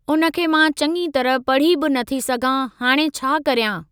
उन खे मां चंङीअ तरह पढ़ी बि न थी सघां हाणे छा करियां?